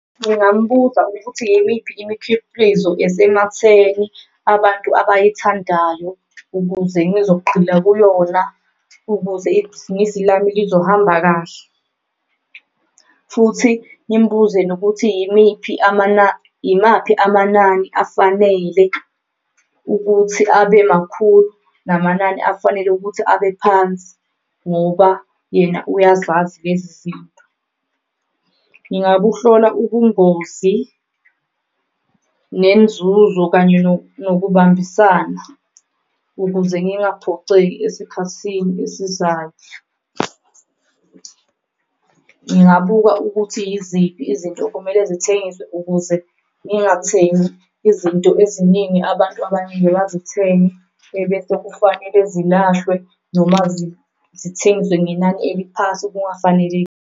Ngingambuza ukuthi yimiphi imikhiqizo esematheni abantu abayithandayo ukuze ngizogxila kuyona, ukuze lami lizohamba kahle futhi ngimbuze nokuthi yimiphi yimaphi amanani afanele ukuthi abe makhulu. Namanani afanele ukuthi abe phansi ngoba yena uyazazi lezinto. Ngingabuhlola ubungozi nenzuzo kanye nokubambisana ukuze ngingaphoceki esikhathini esizayo . Ngingabuka ukuthi yiziphi izinto okumele zithengwe ukuze ngingathengi izinto eziningi abantu abangeke bazithenge, ebese kufanele zilahlwe noma zithengeswe ngenani eliphansi kungafanelekile.